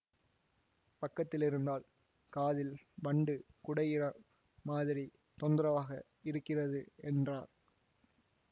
பக்கத்திலிருந்தால் காதில் வண்டு குடைகிற மாதிரி தொந்தரவாக இருக்கிறது என்றார்